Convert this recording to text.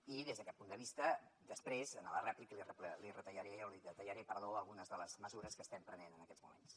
i des d’aquest punt de vista després en la rèplica li detallaré algunes de les mesures que estem prenent en aquests moments